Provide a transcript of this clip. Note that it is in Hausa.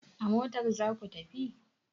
A motar za ku tafi!